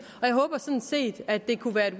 og jeg håber sådan set at det kunne være et